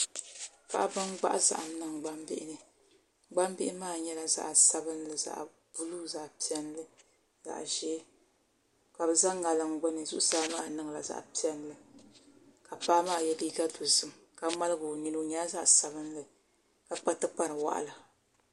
Paɣaba n gbahi zahim niŋ gbambihini gbambili maa nyɛla zaɣ sabinli zaɣ buluu zaɣ piɛlli zaɣ ʒɛɛ ka bɛ za ŋaliŋ gbuni zuɣusaa maa nyɛla zaɣ piɛlli ka paɣa maa yɛ liiga dɔzim ka ŋmaligi o nini o nyɛla zaɣ sabinli ka kpa tikpari wɔɣila